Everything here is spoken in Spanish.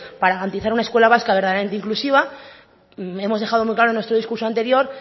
para garantizar una escuela vasca verdaderamente inclusiva hemos dejado muy claro en nuestro discurso anterior